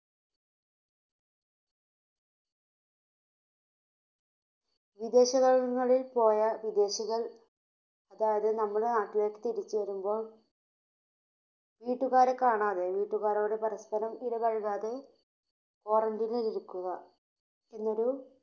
വിദേശങ്ങ~ങ്ങളിൽ പോയ വിദേശികൾ, അതായതു നമ്മുടെ നാട്ടിലേക്ക് തിരിച്ചുവരുമ്പോൾ വീട്ടുകാരെ കാണാതെ വീട്ടുകാരോടു പരസ്പരം ഇടപഴകാതെ Quarantine നിൽ ഇരിക്കുക എന്നൊരു